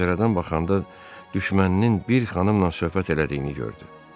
Pəncərədən baxanda düşməninin bir xanımla söhbət elədiyini gördü.